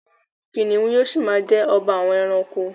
Kìnìún ni yóò ṣi ma jẹ́ ọba àwọn ẹranko.